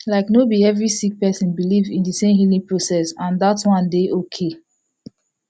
like no bi every sik person biliv in di sem healing process and dat one dey okay